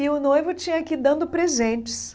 E o noivo tinha que ir dando presentes.